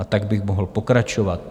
A tak bych mohl pokračovat.